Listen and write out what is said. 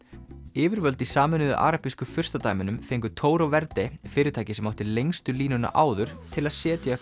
yfirvöld í Sameinuðu arabísku furstadæmunum fengu Toro Verde fyrirtækið sem átti lengstu línuna áður til að setja